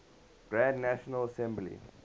grand national assembly